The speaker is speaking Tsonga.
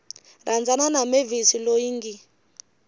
rhandzana na mavis loyi ngi